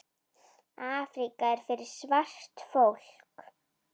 Afríka er fyrir svart fólk.